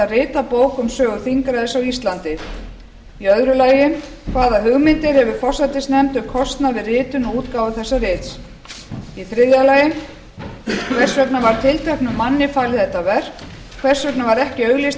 rita bók um sögu þingræðis á íslandi annars hvaða hugmyndir hefur forsætisnefnd um kostnað við ritun og útgáfu þessa rits þriðja hvers vegna var tilteknum manni falið þetta verk hvers vegna var ekki auglýst